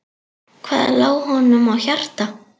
Hvað lá honum á hjarta?